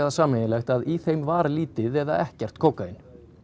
sameiginlegt að í þeim var lítið eða ekkert kókaín